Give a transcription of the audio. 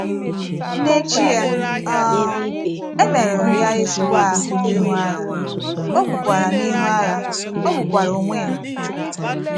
N’échi ya, um e merụrụ ya ezigbo ahụ́ n’ihu àgha,ò gbukwara n’ihu àgha,ò gbukwara onwe ya.